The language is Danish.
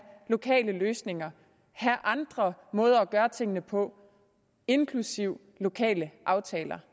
lokale løsninger have andre måder at gøre tingene på inklusive lokale aftaler